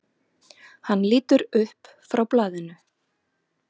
Hann lítur upp frá blaðinu.